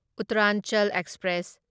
Uttaranchal express